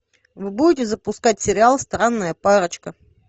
вы будете запускать сериал странная парочка